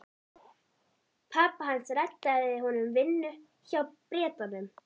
Pabbi hans reddaði honum vinnu hjá Bretanum.